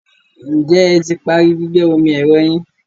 Ǹjẹ́ ẹ ti parí gbígbẹ́ omi ẹ̀rọ yín?